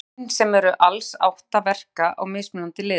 Genin, sem eru alls átta, verka á mismunandi liði.